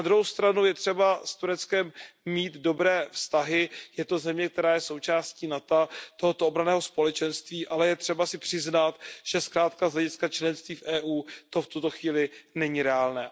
Na druhou stranu je třeba s Tureckem mít dobré vztahy, je to země, která je součástí obranného společenství NATO, ale je třeba si přiznat, že zkrátka z hlediska členství v Evropské unii to v tuto chvíli není reálné.